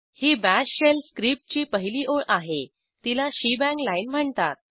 ही bash shell स्क्रिप्टची पहिली ओळ आहे तिला शेबांग लाईन म्हणतात